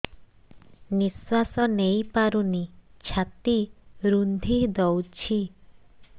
ନିଶ୍ୱାସ ନେଇପାରୁନି ଛାତି ରୁନ୍ଧି ଦଉଛି